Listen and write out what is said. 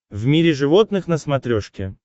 в мире животных на смотрешке